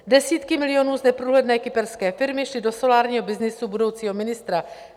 Desítky milionů z neprůhledné kyperské firmy šly do solárního byznysu budoucího ministra.